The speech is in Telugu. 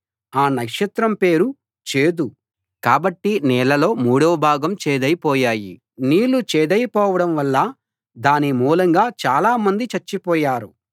ఆ నక్షత్రం పేరు చేదు కాబట్టి నీళ్ళలో మూడవ భాగం చేదై పోయాయి నీళ్ళు చేదై పోవడం వల్ల దాని మూలంగా చాలా మంది చచ్చిపోయారు